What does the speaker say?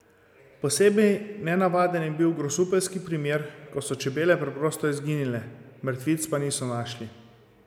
Posebej nenavaden je bil grosupeljski primer, ko so čebele preprosto izginile, mrtvic pa niso našli.